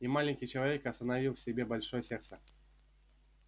и маленький человек остановил в себе большое сердце